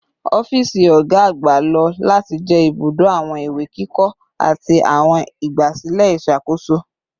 Ọfiisi ọga agba lo lati jẹ ibudo awọn iwe kikọ ati awọn igbasilẹ iṣakoso